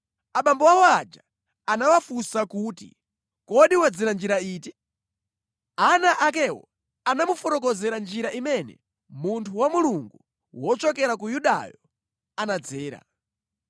Abambo awo aja anawafunsa kuti, “Kodi wadzera njira iti?” Ana akewo anamufotokozera njira imene munthu wa Mulungu wochokera ku Yudayo anadzera.